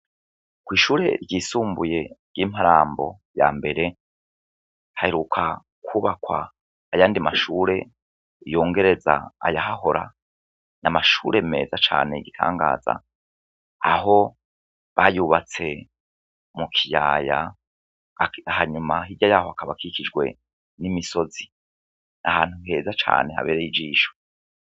Kw'ishure ryisumbuye ry'imparambo ya mbere haheruka kubakwa ayandi mashure yongereza ayahahora n' amashure meza cane igitangaza aho bayubatse mu kiyaya hanyuma hirya yaho akabakikijwe n'imisozi ahantu heza cane habereye ijisho.